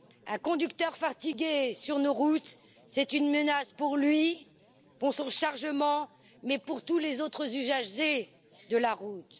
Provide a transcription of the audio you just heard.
Un conducteur fatigué sur nos routes, c'est une menace pour lui, pour son chargement, mais aussi pour tous les autres usagers de la route.